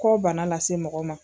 Kɔ bana lase mɔgɔ ma.